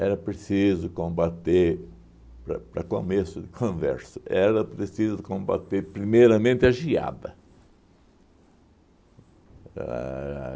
Era preciso combater, para para começo de conversa, era preciso combater primeiramente a geada. A